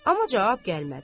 Amma cavab gəlmədi.